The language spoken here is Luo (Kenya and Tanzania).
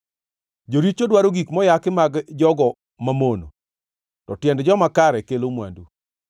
Joricho dwaro gik moyaki mag jogo mamono, to tiend joma kare kelo mwandu.